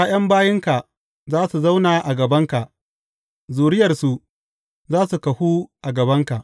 ’Ya’yan bayinka za su zauna a gabanka; zuriyarsu za su kahu a gabanka.